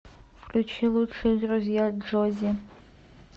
включи лучшие друзья джоззи